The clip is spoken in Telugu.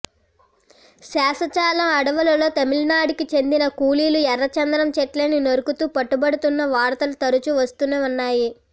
శేషాచలం అడవులలో తమిళనాడుకి చెందిన కూలీలు ఎర్రచందనం చెట్లని నరుకుతూ పట్టుబడుతున్న వార్తలు తరచూ వస్తూనే ఉన్నాయి